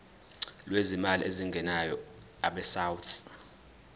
lwezimali ezingenayo abesouth